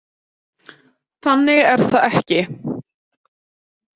Þannig er það ekki.